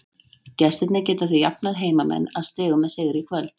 Gestirnir geta því jafnað heimamenn að stigum með sigri í kvöld.